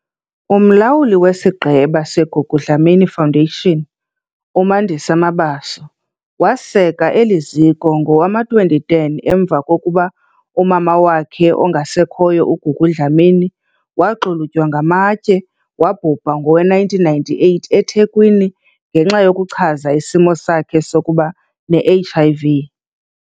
UMlawuli weSigqeba seGugu Dlamini Foundation, uMandisa Mabaso, waseka eli ziko ngowama-2010 emva kokuba umama wakhe ongasekhoyo uGugu Dlamini waxulutywa ngamatye wabhubha ngowe-1998 eThekwini ngenxa yokuchaza isimo sakhe sokuba ne-HIV .